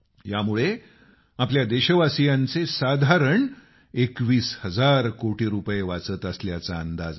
यामुळे आपल्या देशवासीयांचे साधारण 21 हजार कोटी रुपये वाचत असल्याचा अंदाज आहे